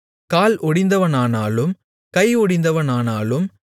கால் ஒடிந்தவனானாலும் கை ஒடிந்தவனானாலும்